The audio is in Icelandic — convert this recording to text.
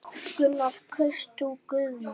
Gunnar: Kaust þú Guðna?